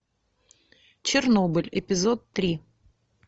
чернобыль эпизод три